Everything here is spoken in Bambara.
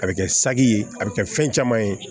A bɛ kɛ saki ye a bɛ kɛ fɛn caman ye